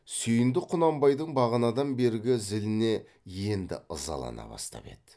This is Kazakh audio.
сүйіндік құнанбайдың бағанадан бергі зіліне енді ызалана бастап еді